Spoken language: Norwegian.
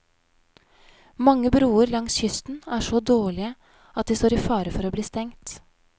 Mange broer langs kysten er så dårlige at de står i fare for å bli stengt.